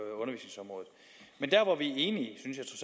enig